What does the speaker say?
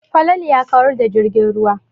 Falalu ya kawar da jirgin ruwa.